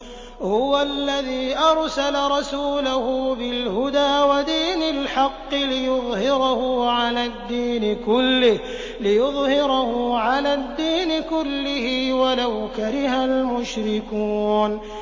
هُوَ الَّذِي أَرْسَلَ رَسُولَهُ بِالْهُدَىٰ وَدِينِ الْحَقِّ لِيُظْهِرَهُ عَلَى الدِّينِ كُلِّهِ وَلَوْ كَرِهَ الْمُشْرِكُونَ